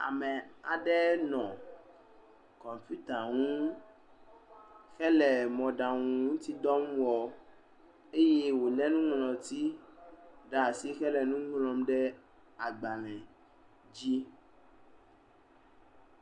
Ame aɖe nɔ kɔmpita ŋu hele mɔɖaŋutidɔ wɔm eye wolé nuŋlɔti ɖe asi hele nu ŋlɔm ɖe agbalẽ dzi.